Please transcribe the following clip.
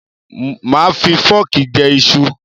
Máà fi fọ́ọ̀kì jẹ iṣu